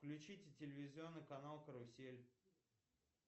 включите телевизионный канал карусель